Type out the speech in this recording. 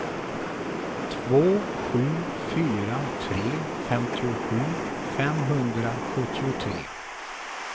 två sju fyra tre femtiosju femhundrasjuttiotre